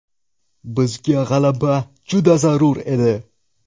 Bizga g‘alaba juda zarur edi.